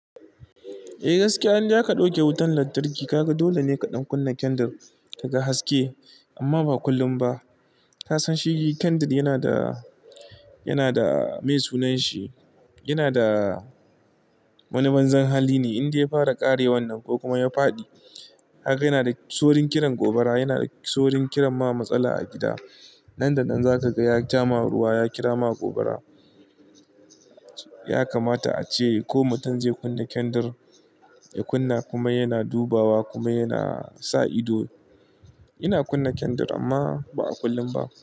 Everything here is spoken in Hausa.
Eh gaskiya, indai aka ɗauke wutan lantarki kaga dole ne kaɗan kunna kendir ka ga haske amma ba kullum ba. Ka san shi kendir yana da, yana da meye sunan shi, yana da wani banzan hali ne indai ya fara ƙarewan nan ko kuma ya faɗi kaga yana da saurin kiran gobara, yana da saurin kiran ma matsala a gida. Nan da nan zaka ga ya jama ruwa, ya kira ma gobara. Ya kamata ace ko mutum zai kunna kendir, ya kunna kuma yana dubawa kuma yana sa ido. Ina kunna kendir amma ba a kullum ba.